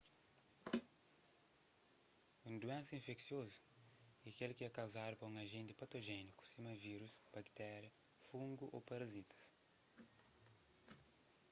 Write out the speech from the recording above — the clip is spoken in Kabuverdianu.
un duénsa infeksiozu é kel ki é kauzadu pa un ajenti patojéniku sima vírus baktéria fungu ô parazitas